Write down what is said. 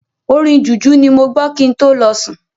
Orin Jùjú ni mo gbọ kin tó lọ sùn.